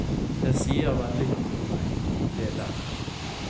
Det sier vel litt om meg, det der.